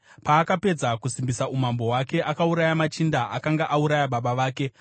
Paakapedza kusimbisa umambo hwake akauraya machinda akanga auraya baba vake.